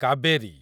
Kaveri